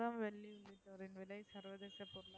தங்கம் வெள்ளி விலை சவரன்க்கு